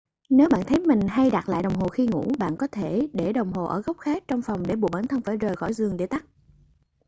nếu bạn thấy mình hay đặt lại đồng hồ khi ngủ bạn có thể để đồng hồ ở góc khác trong phòng để buộc bản thân phải rời khỏi giường để tắt